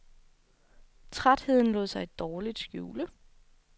Trætheden lod sig dårligt skjule.